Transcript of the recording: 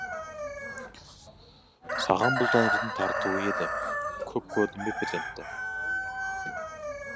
саған бұл тәңірдің тартуы еді көп көрдің бе перзентті